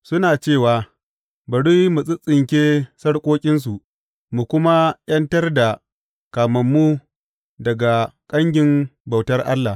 Suna cewa, Bari mu tsittsinke sarƙoƙinsu, mu kuma ’yantar da kamammu daga kangin bautar Allah.